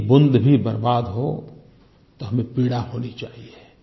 एक बूँद भी बर्बाद हो तो हमें पीड़ा होनी चाहिए